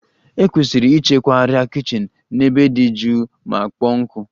E kwesiri ịchekwa arịa kichin n'ebe dị jụụ ma kpọọ nkụ.